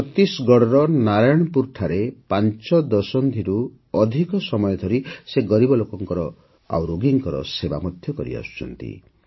ଛତିଶଗଡ଼ର ନାରାୟଣପୁରରେ ପାଞ୍ଚ ଦଶନ୍ଧିରୁ ଅଧିକ ସମୟ ଧରି ସେ ଗରିବ ରୋଗୀଙ୍କର ସେବା କରିଆସୁଛନ୍ତି